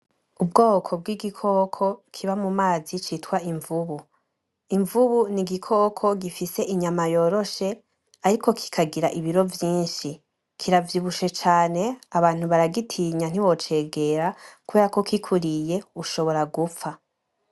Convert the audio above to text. Ubwoko bw’igikoko kiba mu mazi citwa imvubu, Imvubu n’igikoko gifise inyama yoroshe ariko kikagira ibiro vyishi kira vyibushe cane abantu baragitinya ntiwocegera ku berako kikuriye ushobora gupfa.